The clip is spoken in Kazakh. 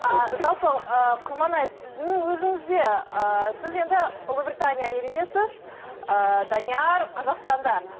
ыыы жалпы ы құрманай сіздің өзіңіз де ы сіз енді ұлыбритания еліндесіз ыыы данияр қазақстанда